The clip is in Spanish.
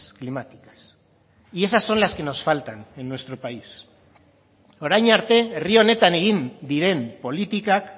climáticas y esas son las que nos faltan en nuestro país orain arte herri honetan egin diren politikak